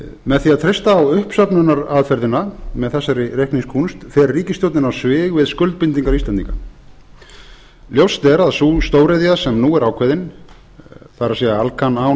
með því að treysta á uppsöfnunaraðferðina með þessari reikningskúnst fer ríkisstjórnin á svig við skuldbindingar íslendinga ljóst er að sú stóriðja sem nú er ákveðin það er alcan án